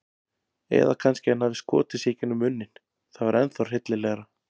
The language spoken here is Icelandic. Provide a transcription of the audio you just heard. Eða kannski hann hafi skotið sig gegnum munninn- það var ennþá hryllilegra.